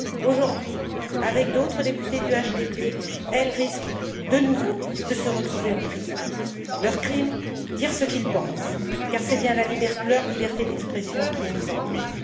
Aujourd'hui, avec d'autres députés du HDP, elle risque de nouveau de se retrouver en prison. Leur crime dire ce qu'ils pensent, car c'est bien leur liberté d'expression qui est mise en cause.